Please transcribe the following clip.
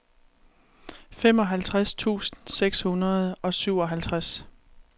femoghalvtreds tusind seks hundrede og syvoghalvtreds